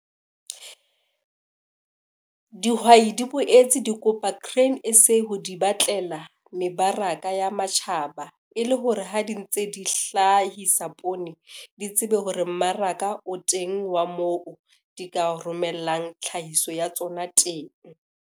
Dihwai di boetse di kopa Grain SA ho di batlela mebaraka ya matjhaba, e le hore ha di ntse di hlahisa poone di tsebe hore mmaraka o teng wa moo di ka romellang tlhahiso ya tsona teng.